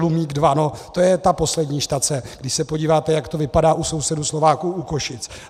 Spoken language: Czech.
Luník II, to je ta poslední štace, když se podíváte, jak to vypadá u sousedů Slováků u Košic.